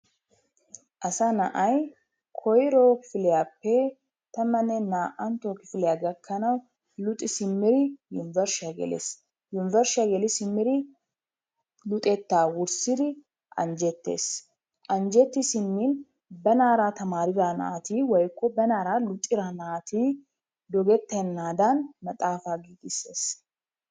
asaa na'ay koyro kifiliyappe tammanne naa'antta kifiliya gakanaw luxi simmidi yunburshshiya gelessi. Yunbershshiya geli simmidi luxetta wurssidi anjjetees. Anjjetti simmin banaara tamarida naati woykko banaara luxida naati dogetenaadan maxaafa giigissees.